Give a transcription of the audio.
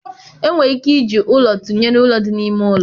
Enwere ike iji ụlọ tụnyere ụlọ dị n'ime ụlọ.